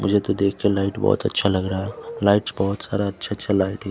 मुझे तो देख के लाइट बहोत अच्छा लग रहा है लाइट बहोत सारा अच्छा अच्छा लाइट --